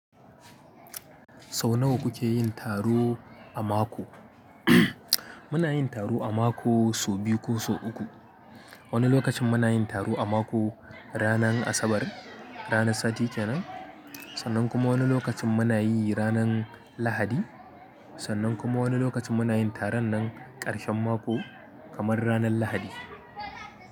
Sau nawa kuke yin taro a mako? Muna yin taro a mako sau biyu ko sau uku. Wani lokacin muna yin taro a mako ranar Asabar, ranar sati kenan, sannan kuma wani lokacin muna yi ranar Lahadi, sannan kuma wani lokacin muna yin taron nan ƙarshen mako kamar ranar Lahadi.